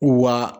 Wa